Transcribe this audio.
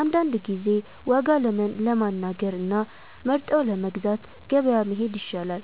አንዳንድ ጊዜ ዋጋ ለማነጋገር እና ለመርጠው ለመግዛት ገበያ መሄድ ይሻላል።